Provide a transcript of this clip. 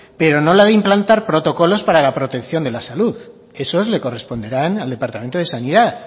pero no la de implantar protocolos para la protección de la salud esos le corresponderán al departamento de sanidad